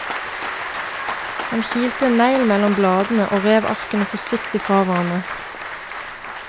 Han kilte en negl mellom bladene, og rev arkene forsiktig fra hverandre.